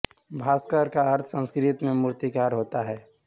भास्कर का अर्थ संस्कृत में मूर्तिकार होता है